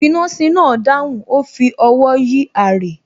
finasi náà dáhùn, ó fi ọwọ́ yí aré